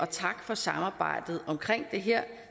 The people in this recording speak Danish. tak for samarbejdet om det her